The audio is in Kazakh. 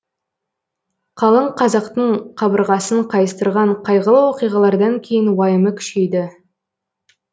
қалың қазақтың қабырғасын қайыстырған қайғылы оқиғалардан кейін уайымы күшейді